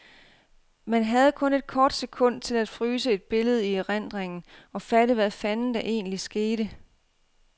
Man havde kun et kort sekund til at fryse et billede i erindringen og fatte, hvad fanden der egentlig skete.